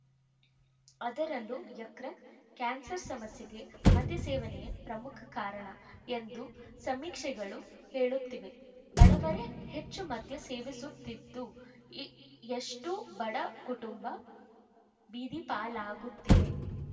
ಅದರಲ್ಲೂ ಯಕೃತ್‌ ಕ್ಯಾನ್ಸರ್‌ ಸಮಸ್ಯೆಗೆ ಮದ್ಯ ಸೇವನೆಯೇ ಪ್ರಮುಖ ಕಾರಣ ಎಂದು ಸಮೀಕ್ಷೆಗಳು ಹೇಳುತ್ತಿವೆ ಬಡವರೇ ಹೆಚ್ಚು ಮದ್ಯ ಸೇವಿಸುತ್ತಿದ್ದು ಇ ಎಷ್ಟೋ ಬಡ ಕುಟುಂಬ ಬೀದಿಪಾಲಾಗುತ್ತಿವೆ